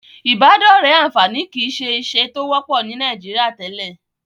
Ìbádọ́rẹ̀ẹ́ àǹfààní kìí ṣe ìṣe tó wọ́pọ̀ ní Nàìjíríà tẹ́lẹ̀.